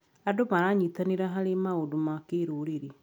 Andũ maranyitanĩra harĩ maũndũ ma kĩrũrĩrĩ.